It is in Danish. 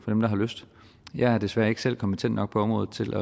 dem der har lyst jeg er desværre ikke selv kompetent nok på området til